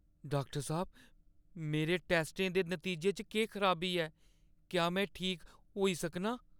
Doctor साह्‌ब, मेरे टैस्टें दे नतीजें च केह् खराबी ऐ? क्या में ठीक होई सकनां?